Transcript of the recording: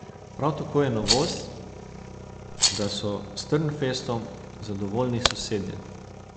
Prav tako je novost, da so s Trnfestom zadovoljni sosedje.